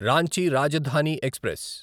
Ranchi Rajdhani express